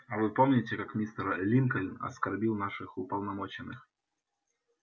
а вы помните как мистер линкольн оскорбил наших уполномоченных